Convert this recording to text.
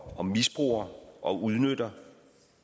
og misbruger og udnytter